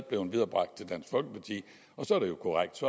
blevet viderebragt til dansk folkeparti og så er det jo korrekt